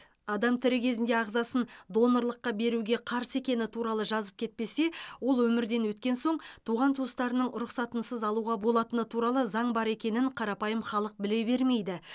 адам тірі кезінде ағзасын донорлыққа беруге қарсы екені туралы жазып кетпесе ол өмірден өткен соң туған туыстарының рұқсатынсыз алуға болатыны туралы заң бар екенін қарапайым халық біле бермейді